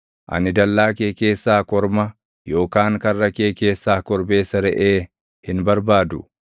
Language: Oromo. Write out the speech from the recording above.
Ani dallaa kee keessaa korma, yookaan karra kee keessaa korbeessa reʼee hin barbaadu.